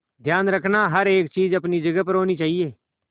ध्यान रखना हर एक चीज अपनी जगह पर होनी चाहिए